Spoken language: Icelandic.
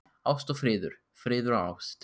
Ást og friður, friður og ást.